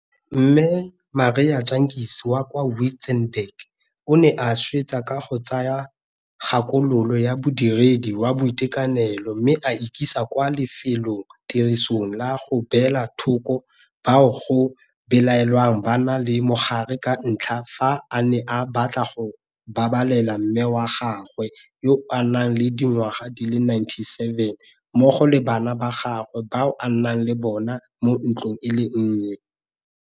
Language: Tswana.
Marie Jantjies wa kwa Wi-tzenberg o ne a swetsa ka go tsaya kgakololo ya modiredi wa boitekanelo mme a ikisa kwa lefelotirisong la go beela thoko bao go belaelwang ba na le mogare ka ntlha ya fa a ne a batla go babalela mme wa gagwe yo a nang le dingwaga di le 97 mmogo le bana ba gagwe bao a nnang le bona mo ntlong e le nngwe.